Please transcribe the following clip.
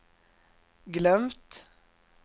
glömt